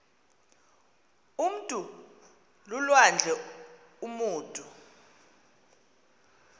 umntu lulwandle umutu